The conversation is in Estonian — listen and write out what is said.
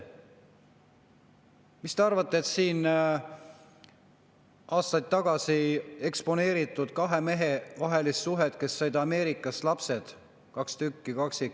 Siin aastaid tagasi eksponeeriti kahe mehe vahelist suhet, kes said Ameerikast lapsed, kaks tükki, kaksikud.